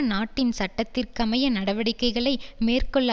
நாட்டின் சட்டத்திற்கமைய நடவடிக்கைகளை மேற்கொள்ள